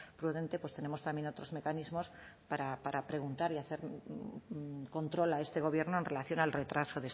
prudente pues tenemos también otros mecanismos para preguntar y hacer control a este gobierno en relación al retraso